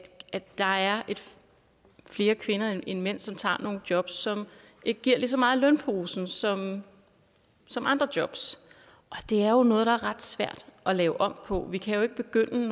der er flere kvinder end mænd som tager nogle jobs som ikke giver lige så meget i lønposen som som andre jobs det er jo noget der er ret svært at lave om på vi kan ikke begynde